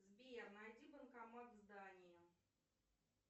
сбер найди банкомат в здании